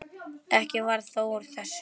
Ekkert varð þó úr þessu.